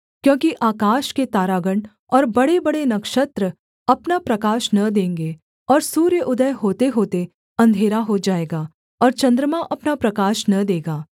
क्योंकि आकाश के तारागण और बड़ेबड़े नक्षत्र अपना प्रकाश न देंगे और सूर्य उदय होतेहोते अंधेरा हो जाएगा और चन्द्रमा अपना प्रकाश न देगा